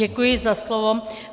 Děkuji za slovo.